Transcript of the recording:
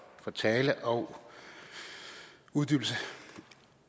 talen og uddybelsen